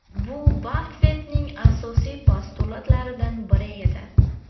Bu Baffettning asosiy postulatlaridan biri edi.